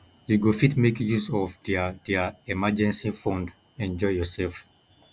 you go fit make use of their their emergency fund enjoy yourself